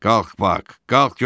Qalx Bak, qalx görüm.